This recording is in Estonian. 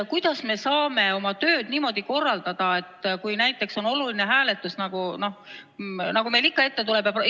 Kuidas me saame oma tööd niimoodi korraldada, kui näiteks on oluline hääletus, nagu meil neid ikka ette tuleb?